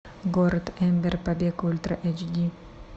город эмбер побег ультра эйч ди